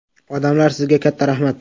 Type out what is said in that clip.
Odamlar, sizga katta rahmat!